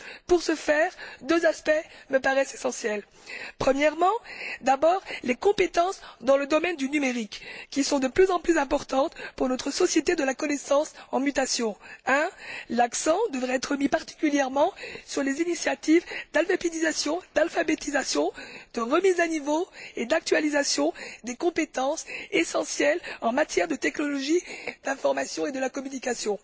Pour ce faire, deux aspects me paraissent essentiels premièrement, les compétences dans le domaine du numérique, qui sont de plus en plus importantes pour notre société de la connaissance en mutation. L'accent devrait d'abord être mis particulièrement sur les initiatives d'alphabétisation, de remise à niveau et d'actualisation des compétences essentielles en matière de technologie d'information et de la communication,